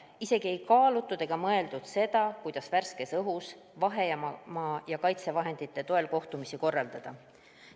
Isegi ei kaalutud seda, kuidas värskes õhus vahemaa hoidmise ja kaitsevahendite toel kohtumisi korraldada.